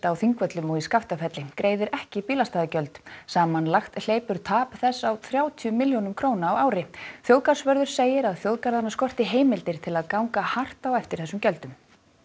á Þingvöllum og í Skaftafelli greiðir ekki bílastæðagjöld samanlagt hleypur tap þess á þrjátíu milljónum á ári þjóðgarðsvörður segir að þjóðgarðana skorti heimildir til að ganga hart á eftir þessum gjöldum